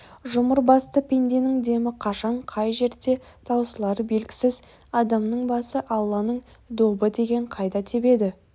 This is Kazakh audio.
жұмыр басты пенденің демі қашан қай жерде таусылары белгісіз адамның басы алланың добы деген қайда тебеді